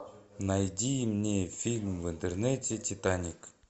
найди мне фильм в интернете титаник